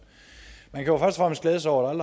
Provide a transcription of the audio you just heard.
man kan jo først og fremmest glæde sig over at